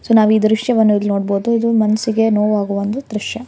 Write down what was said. So ನಾವ್ ಈ ದೃಶ್ಯವನ್ನು ಇಲ್ಲು ನೋಡ್ಬೋದು ಇದು ಮನ್ಸಿಗೆ ನೋವ್ ಆಗುವ ಒಂದ್ ದೃಶ್ಯ.